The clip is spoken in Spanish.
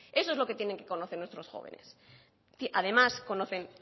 eso es lo que tienen que conocer nuestros jóvenes además conocen